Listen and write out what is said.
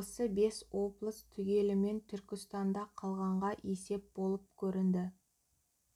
осы бес облыс түгелімен түркістанда қалғанға есеп болып көрінді